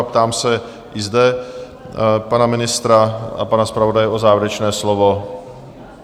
A ptám se i zde pana ministra a pana zpravodaje na závěrečné slovo.